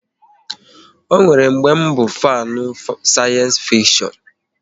Ọ nwere mgbe bụ fanu sayensi fikshon